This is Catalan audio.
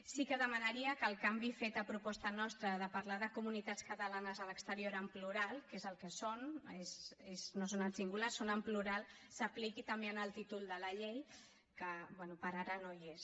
sí que demanaria que el canvi fet a proposta nostra de parlar de comunitats catalanes a l’exterior en plural que és el que són no són en singular són en plural s’apliqui també en el títol de la llei que bé per ara no hi és